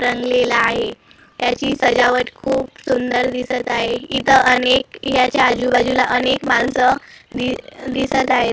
रंगलेला आहे त्याची सजावट खूप सुंदर दिसत आहे इथं अनेक याच्या आजूबाजूला अनेक माणसं दि दिसत आहेत .]